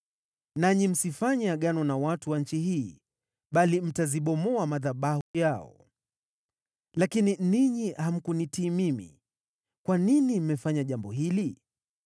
Nanyi msifanye agano na watu wa nchi hii, bali mtazibomoa madhabahu yao.’ Lakini ninyi hamkunitii mimi. Kwa nini mmefanya jambo hili?